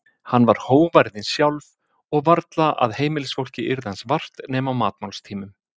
Hann var hógværðin sjálf og varla að heimilisfólkið yrði hans vart nema á matmálstímum.